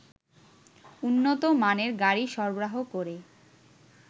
উন্নতমানের গাড়ি সরবরাহ করে